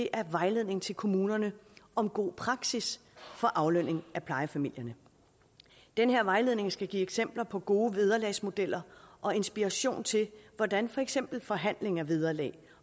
er vejledning til kommunerne om god praksis for aflønning af plejefamilierne den her vejledning skal give eksempler på gode vederlagsmodeller og inspiration til hvordan for eksempel forhandling af vederlag